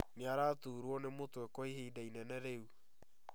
Nĩaraturwo nĩ mũtwe kwa ihinda inene rĩu